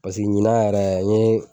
Pasiki ɲina yɛrɛ n ye